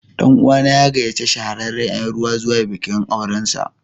Ɗan'uwa na ya gayyaci shahararren Yan rawa zuwa bikin aurensa.